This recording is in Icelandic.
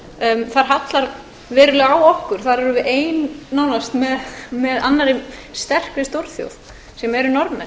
s þar hallar verulega á okkur þar erum við ein nánast með annarri sterkri stórþjóð sem eru norðmenn